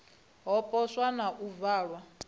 ha poswo na u valwa